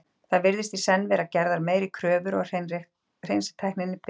Þar virðast í senn vera gerðar meiri kröfur og hreinsitæknin betri.